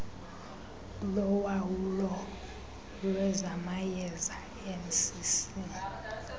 lowawulo lwezamayeza mcc